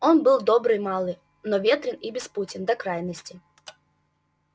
он был добрый малый но ветрен и беспутен до крайности